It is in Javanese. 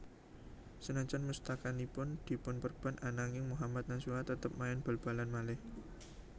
Sanajan mustakanipun dipunperban ananging Mohammad Nasuha tetep main bal balan malih